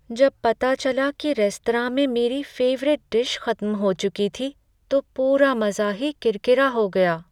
जब पता चला कि रेस्तरां में मेरी फेवरिट डिश खत्म हो चुकी थी तो पूरा मज़ा ही किरकिरा हो गाया।